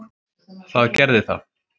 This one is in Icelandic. Það gerði það.